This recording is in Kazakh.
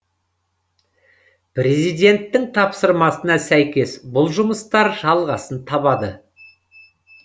президенттің тапсырмасына сәйкес бұл жұмыстар жалғасын табады